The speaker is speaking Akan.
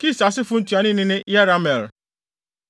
Kis asefo ntuanoni ne Yerahmeel.